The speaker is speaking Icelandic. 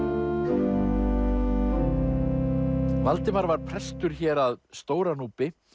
Valdimar var prestur hér að Stóra Núpi